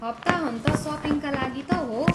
हप्ताहन्त सपिङका लागि त हो!